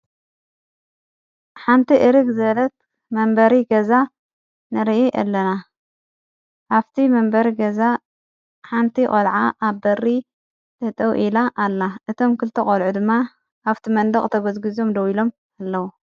ሓንቲ እርግ ዘበለት መንበሪ ገዛ ንርኢ ኣለና ሃብቲ መንበሪ ገዛ ሓንቲ ቖልዓ ኣብ በሪ ጠጠው ኢላ ኣላ እቶም ክልተ ቖልዑ ድማ ኣብቲ መንደቕ ተጐዝግዞም ደው ኢሎም ኣለዉ።